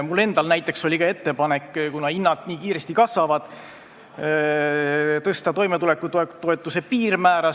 Mul endal oli ka ettepanek, kuna hinnad nii kiiresti tõusevad, tõsta toimetulekutoetuse piirmäära.